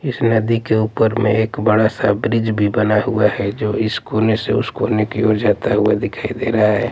इस नदी के ऊपर में एक बड़ा सा ब्रिज भी बना हुआ हैं जो इस कोने से उस कोने की ओर जाता हुआ दिखाई दे रहा हैं।